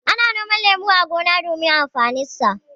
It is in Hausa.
Ana noman lemu a gona domin amfaninsa.